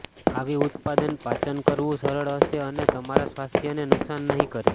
આવી ઉત્પાદન પાચન કરવું સરળ હશે અને તમારા સ્વાસ્થ્યને નુકસાન નહીં કરે